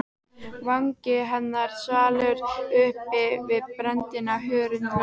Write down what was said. Vangi hennar svalur uppi við brennandi hörund Lóu.